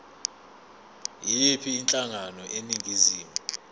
yiyiphi inhlangano eningizimu